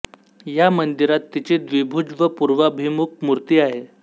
या मंदिरात तिची द्विभुज व पूर्वाभिमुख मूर्ती आहे